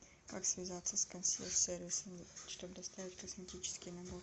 как связаться с консьерж сервисом чтобы доставить косметический набор